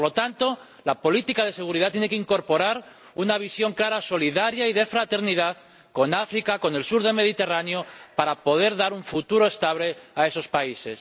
Y, por lo tanto, la política de seguridad tiene que incorporar una visión clara, solidaria y de fraternidad con África y con el sur del Mediterráneo para poder dar un futuro estable a esos países.